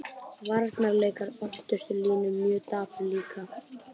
Varnarleikur öftustu línu mjög dapur líka.